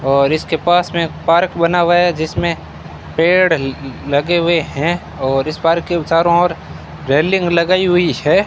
और इसके पास में एक पार्क बना हुआ है जिसमें पेड़ लगे हुए हैं और इस पार्क के चारों और रेलिंग लगाई हुई है।